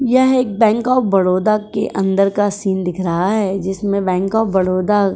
यह एक bank of Baroda के अंदर का सीन दिख रहा है जिसमें बैंक ऑफ़ बड़ोदा --